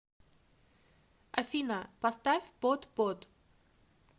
афина поставь под п о д